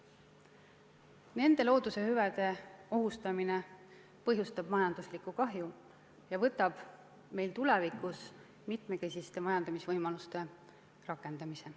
Nende loodushüvede ohustamine põhjustab majanduslikku kahju ja võtab meil tulevikus võimaluse rakendada mitmekesist majandamist.